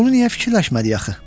Bunu niyə fikirləşmədik axı?